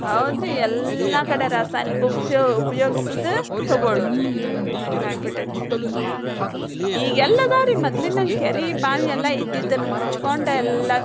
ಹೌದ್ರಿ ಎಲ್ಲಾ ಕಡೆ ರಾಸಾಯನಿಕ ಉಪಸಿ~ ಉಪಯೋಸಿದ ತಗೋಳುದು ಹ್ಮ್ ಹಂಗ ಆಗಿಬಿಟ್ಟೆತಿ. ಈಗೆಲ್ಲೆದಾವ್ರಿ ಮದ್ಲಿನಂಗ್ ಕೆರಿ, ಬಾವಿ ಎಲ್ಲಾ ಇದ್ದಿದನ್ನ ಮುಚ್ಕೊಂಡ್ ಎಲ್ಲಾ.